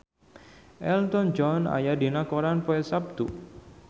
Elton John aya dina koran poe Saptu